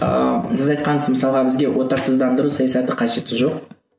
ыыы сіз айтқансыз мысалға бізге отарсыздандыру саясаты қажеті жоқ